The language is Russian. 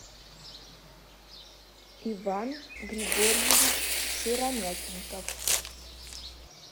иван григорьевич сыромятников